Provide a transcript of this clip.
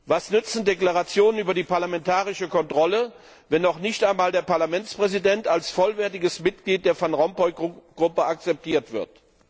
Was nützen Deklarationen über die parlamentarische Kontrolle, wenn noch nicht einmal der Parlamentspräsident als vollwertiges Mitglied der Van Rompuy Gruppe akzeptiert wird?